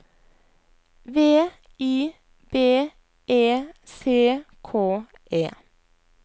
V I B E C K E